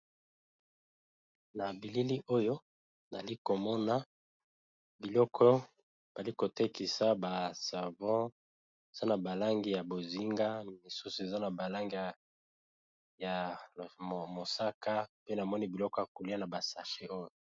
Na bilili oyo nali komona biloko bali kotekisa ba savon eza na balangi ya bozinga misusu eza na balangi ya mosaka pe namoni biloko ya kolia na basache oyo.